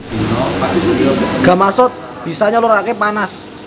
Gamasot bisa nyaluraké panas